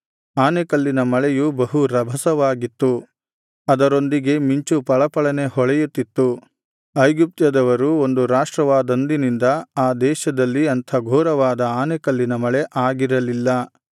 ಆನೆಕಲ್ಲಿನ ಮಳೆಯು ಬಹು ರಭಸವಾಗಿತ್ತು ಅದರೊಂದಿಗೆ ಮಿಂಚು ಫಳಫಳನೆ ಹೊಳೆಯುತಿತ್ತು ಐಗುಪ್ತ್ಯದವರು ಒಂದು ರಾಷ್ಟ್ರವಾದಂದಿನಿಂದ ಆ ದೇಶದಲ್ಲಿ ಅಂಥ ಘೋರವಾದ ಆನೆಕಲ್ಲಿನ ಮಳೆ ಆಗಿರಲಿಲ್ಲ